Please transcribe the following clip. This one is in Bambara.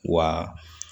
Wa